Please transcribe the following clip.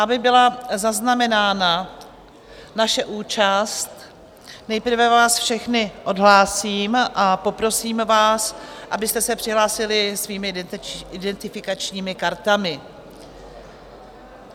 Aby byla zaznamenána naše účast, nejprve vás všechny odhlásím a poprosím vás, abyste se přihlásili svými identifikačními kartami.